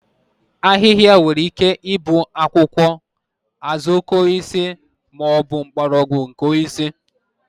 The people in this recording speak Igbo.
ahịhịa nwere ike ịbụ akwụkwọ, azuokokoosisi ma ọ bụ mgbọrọgwụ nke osisi